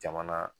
Jamana